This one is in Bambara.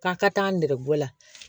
K'a ka taa nɛgɛgela